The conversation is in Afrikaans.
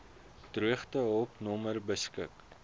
droogtehulp nommer beskik